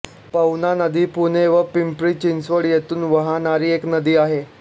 पवना नदी पुणे व पिंपरी चिंचवड येथून वाहणारी एक नदी आहे